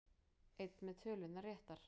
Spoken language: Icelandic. Einn með tölurnar réttar